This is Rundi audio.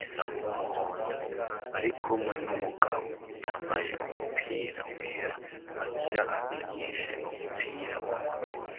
isa n'umuhondo, bari kumwe n'umugabo yambaye umupira wera, agira abigishe umupira w'amaguru.